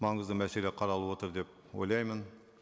маңызды мәселе қаралып отыр деп ойлаймын